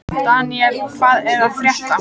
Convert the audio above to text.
Daniel, hvað er að frétta?